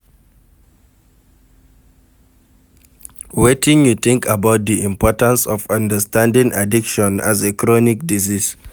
Wetin you think about di importance of understanding addiction as a chronic disease?